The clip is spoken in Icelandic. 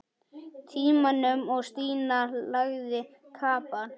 Tímanum og Stína lagði kapal.